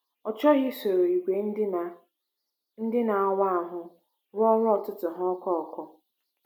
Ọ chọghị isoro ìgwè ndị na - ndị na - awa ahụ rụọ ọrụ ụtụtụ ya ọkụ ọkụ.